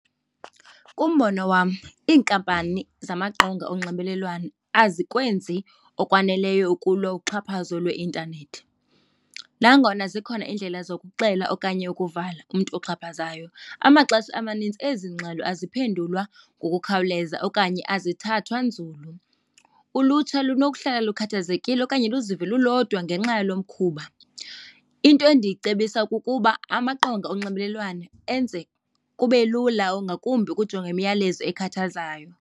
Umbono wam iinkampani zamaqonga onxibelelwano azikwenzi okwaneleyo ukulwa uxhaphazo lweintanethi. Nangona zikhona iindlela zokuxela okanye ukuvala umntu uxhaphazayo, amaxesha amanintsi ezi ngxelo aziphendulwa ngokukhawuleza okanye azithathwa nzulu, ulutsha lunokuhlala lukhathazekile okanye luzive lulodwa ngenxa yalo mkhuba. Into endicebisa kukuba amaqonga onxibelelwano enze kube lula ngakumbi ukujonga imiyalezo ekhathazayo.